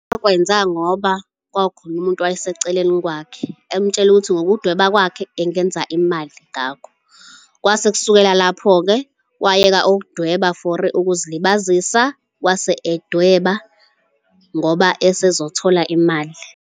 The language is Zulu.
Wakwenza ngoba kwakukhona umuntu owayeseceleni kwakhe, emtshela ukuthi ngokudweba kwakhe engenza imali ngakho. Kwase kusukela lapho-ke wayeka ukudweba for ukuzilibazisa wase edweba ngoba ezothola imali.